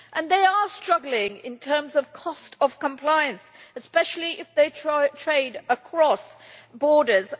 They are struggling in terms of the cost of compliance, especially if they trade across borders.